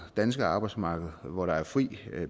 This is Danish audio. danske arbejdsmarked hvor der er fri